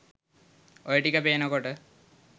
ඔය ටික පේනකොට